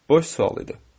Boş sual idi.